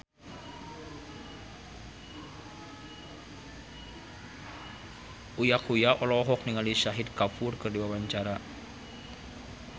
Uya Kuya olohok ningali Shahid Kapoor keur diwawancara